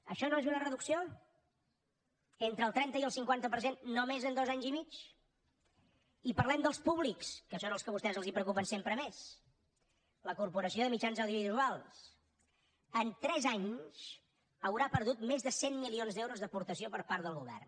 això no és una reducció entre el trenta i el cinquanta per cent només en dos anys i mig i parlem dels públics que són els que a vostès els preocupen sempre més la corporació de mitjans audiovisuals en tres anys haurà perdut més de cent milions d’euros d’aportació per part del govern